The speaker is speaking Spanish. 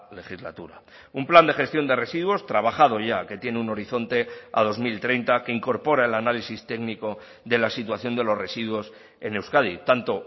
legislatura un plan de gestión de residuos trabajado ya que tiene un horizonte a dos mil treinta que incorpora el análisis técnico de la situación de los residuos en euskadi tanto